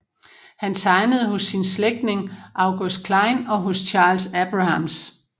Han tegnede hos sin slægtning August Klein og hos Charles Abrahams